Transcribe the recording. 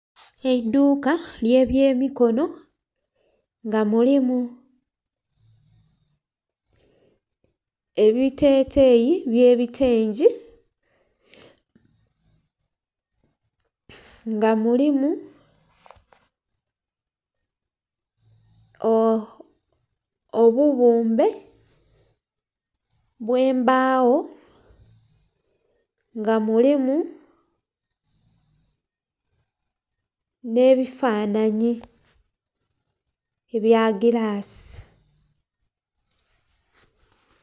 Eiduuka ly'ebyemikono nga mulimu ebiteteyi by'ebitengi, nga mulimu obubumbe bw'embagho nga mulimu n'ebifanhanhi ebya gilasi.